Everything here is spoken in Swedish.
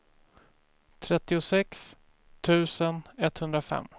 trettiosex tusen etthundrafem